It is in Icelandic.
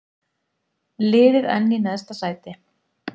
Liðið enn í neðsta sæti